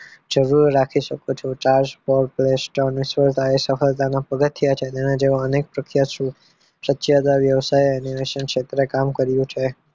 જરૂર રાખી શકો છો Charles Berg play store સફળતાના પગથીયા છે એના જેવા અનેક પ્રખ્યાત પ્રખ્યાત વ્યવસાય એને અનેક ક્ષેત્રે કામ કર્યું છે